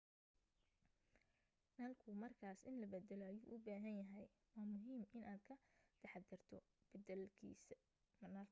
nalku markaas in la baddalo ayuu u baahan yahay waa muhiim inaad ka taxaddarto beddelista nalka